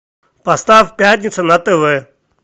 поставь пятница на тв